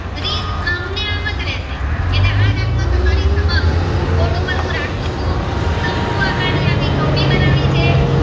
એમ જ રેસે એટલે આ દાખલો તમારી સમક્ષ બોર્ડ ઉપર હું રાખું ચુ શંકુ આકાર ની ટોપી બનાવી છે.